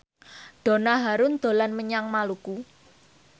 Donna Harun dolan menyang Maluku